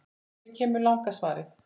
Hér kemur langa svarið